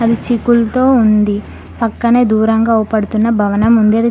చిక్కులతో ఉంది పక్కనే దూరంగా ఊపడుతున్న భవనం ఉంది అది--